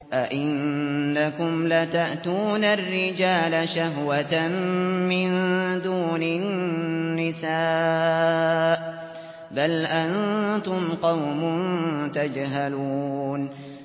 أَئِنَّكُمْ لَتَأْتُونَ الرِّجَالَ شَهْوَةً مِّن دُونِ النِّسَاءِ ۚ بَلْ أَنتُمْ قَوْمٌ تَجْهَلُونَ